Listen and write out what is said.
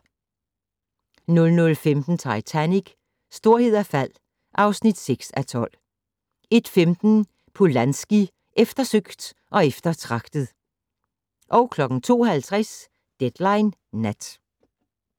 00:15: Titanic: Storhed og fald (6:12) 01:15: Polanski - eftersøgt og eftertragtet 02:50: Deadline Nat